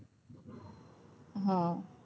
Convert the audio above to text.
હ